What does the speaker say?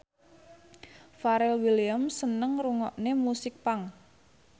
Pharrell Williams seneng ngrungokne musik punk